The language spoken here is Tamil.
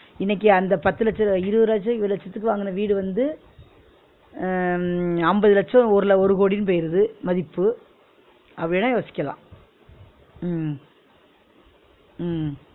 இன்னிக்கு அந்த பத்து லட்ச இருவரு லட்ச இருவது லட்சத்துக்கு வாங்குன வீடு வந்து அஹ் அம்பது லட்சம் ஒரு கோடின்னு போயிருது மதிப்பு அப்பிடி வேணா யோசிக்கலா உம் உம்